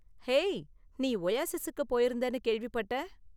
Hey, நீ ஒயாசிஸுக்கு போயிருந்தன்னு கேள்விப்பட்டேன்.